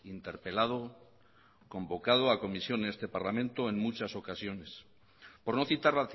interpelado convocado a comisión en este parlamento en muchas ocasiones por no citar